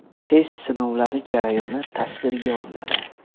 Test sinovlari jarayoni videotasvirga olinadi.